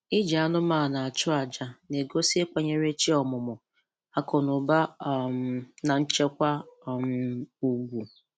Iji anụmanụ achụ aja na-egosi ịkwanyere chi ọmụmụ, akụnụba um na nchekwa um ugwu